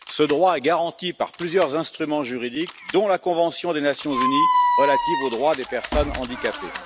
Ce droit est garanti par plusieurs instruments juridiques, dont la convention des Nations unies relative aux droits des personnes handicapées.